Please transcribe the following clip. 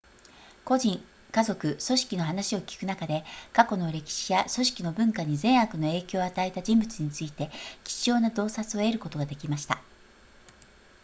個人家族組織の話を聞く中で過去の歴史や組織の文化に善悪の影響を与えた人物について貴重な洞察を得ることができました